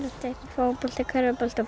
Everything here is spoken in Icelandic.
fótbolta körfubolta